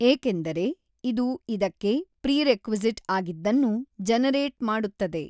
ಏಕೆಂದರೆ ಇದು ಇದಕ್ಕೆ ಪ್ರಿರೆಕ್ವಿಸಿಟ್ ಆಗಿದ್ದನ್ನು ಜನರೇಟ್ ಮಾಡುತ್ತದೆ.